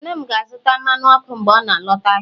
nne m ga-azụta mmanụ ọkụ mgbe ọ na-alọta ahịa